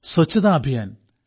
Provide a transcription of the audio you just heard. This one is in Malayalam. സ്വച്ഛതാ അഭിയാൻ